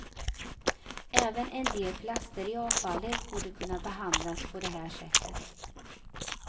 Även en del plaster i avfallet borde kunna behandlas på det här sättet.